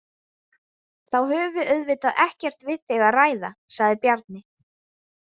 Þá höfum við auðvitað ekkert við þig að ræða, sagði Bjarni.